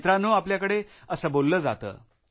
मित्रांनो आपल्याकडे असे बोललं जातं